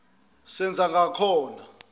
senzangakhona